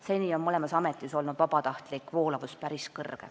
Seni on mõlemas ametis olnud vabatahtlik voolavus päris suur.